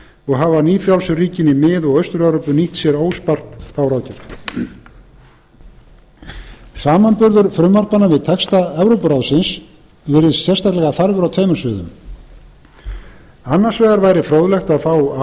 og hafa nýfrjálsu ríkin í mið og austur evrópu nýtt sér óspart þá ráðgjöf samanburður frumvarpanna við texta evrópuráðsins virðist sérstaklega þarfur á tveimur sviðum annars vegar væri fróðlegt að fá